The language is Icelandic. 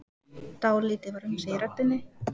Dálítið var um sig í röddinni.